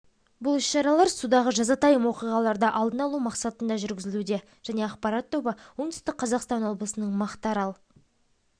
бұл іс-шаралар судағы жазатайым оқиғаларды алдын алу мақсатында жүргізілуде және ақпарат тобы оңтүстік қазақстан облысының мақтаарал